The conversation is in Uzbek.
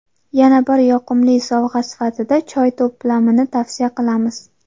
Yana bir yoqimli sovg‘a sifatida choy to‘plamini tavsiya qilamiz.